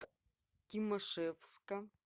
тимашевска